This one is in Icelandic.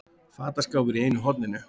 Fataskápur í einu horninu.